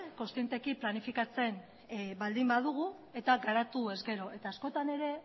konszienteki planifikatzen baldin badugu eta garatu ez gero eta askotan ere